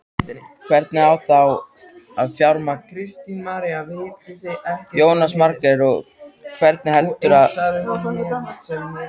Geturðu ekki málað hann eftir minni?